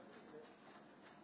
İkinci şey, hər oyunçu.